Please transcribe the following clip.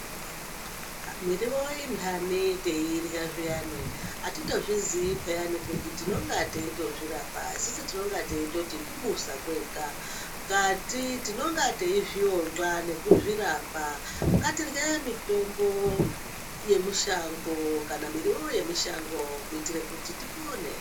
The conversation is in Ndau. Miriwo inhani teirya zviyani atitozviziyi peyani kuti tinonga teitozvirapa isusu tinonga teitoti kubusa kwega ngkati tinonga teizviondla nekuzvirapa ngatirye mitombo kana miriwo yemushango kuitire kuti tipone.